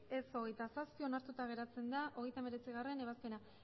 ez hogeita zazpi onartuta geratzen da hogeita hemeretzigarrena ebazpena